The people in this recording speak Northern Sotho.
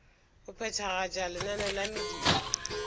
go phethagatša lenaneo la mediro